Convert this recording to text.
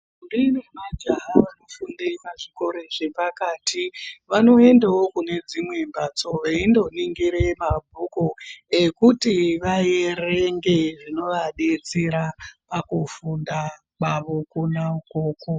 Ntombi nemajaha vanofunde pazvikora zvepakati vanoendawo kune dzimweni mbatso veindoningire mabhuku ekuti vaerenge zvinoadetsera pakufunda kwavo kwona ukoko.